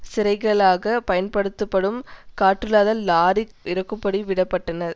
சிறைகளாக பயன்படுத்தப்படும் காற்றில்லாத லாரி இறக்கும்படி விட பட்டனர்